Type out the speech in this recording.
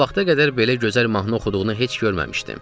O vaxta qədər belə gözəl mahnı oxuduğunu heç görməmişdim.